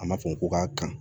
A ma fɔ ko k'a kan